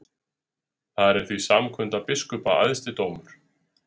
Þar er því samkunda biskupa æðsti dómur.